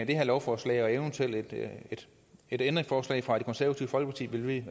det her lovforslag og et eventuelt ændringsforslag fra det konservative folkeparti ville vi